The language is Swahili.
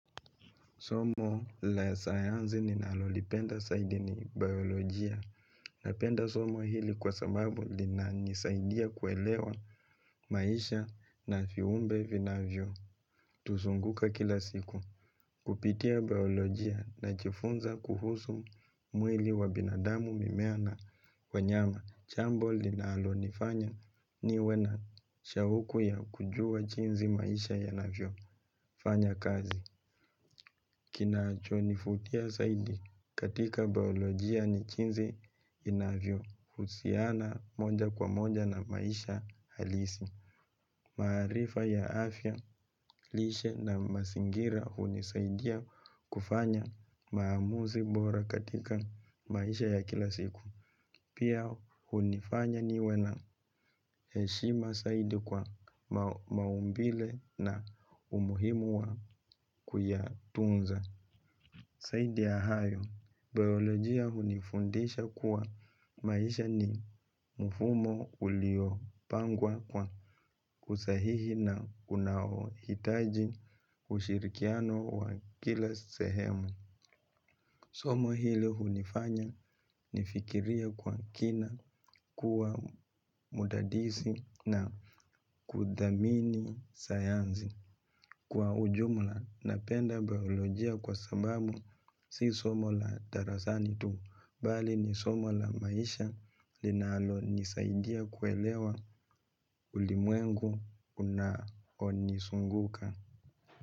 Somo la sayanzi ninalolipenda saidi ni biolojia napenda somo hili kwa sababu linanisaidia kuelewa maisha na fiumbe vinavyo. Tuzunguka kila siku kupitia biolojia nachifunza kuhusu mwili wa binadamu mimea na wanyama. Chambo linalonifanya niwe na shauku ya kujua chinzi maisha yanavyofanya kazi. Kinachonifutia saidi katika biolojia ni chinzi yanavyo. Husiana moja kwa moja na maisha halisi. Maarifa ya afya lishe na masingira hunisaidia kufanya maamuzi bora katika maisha ya kila siku. Pia hunifanya niwe na heshima saidi kwa maumbile na umuhimu wa kuyatunza. Saidi ya hayo, biolojia hunifundisha kuwa maisha ni mfumo uliopangwa kwa usahihi na unaohitaji ushirikiano wa kila sehemu. Somo hilo hulifanya nifikirie kwa kina, kuwa mdadisi na kuthamini sayanzi. Kwa ujumla napenda biolojia kwa sababu si somo la darasani tu, bali ni somo la maisha linalonisaidia kuelewa ulimwengu unaonizunguka.